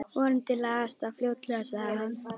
Vonandi lagast það fljótlega sagði hann.